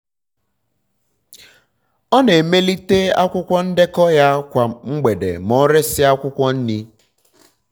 ọ na-emelite um akwụkwọ ndekọ ya kwa mgbede ma o resịa akwụkwọ nri. um